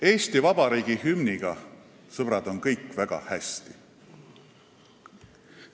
Eesti Vabariigi hümniga, sõbrad, on kõik väga hästi.